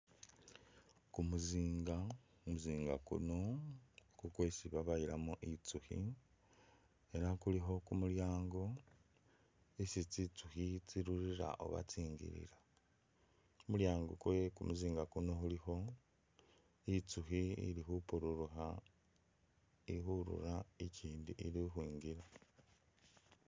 Kumuzinga kumuzinga kuno kukwesi babayilamo itsukhi ela kulikho kumulyango isi tsitsukhi tsi’rurira oba tsingilila ,kumulyango kwe kumuzinga kuno kulikho itsukhi ili khupururukha ikhurura, ikyindi ili ukhwingila.